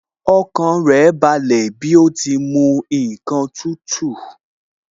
Ọkàn rẹ̀ balẹ̀ bí ó ti mu ǹkan tútù